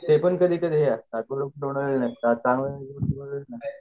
local तरी ते हे हायेत दोन वेळ नसतात त्यामुळे